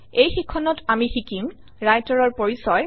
এই শিক্ষণত আমি শিকিম Writer ৰ পৰিচয়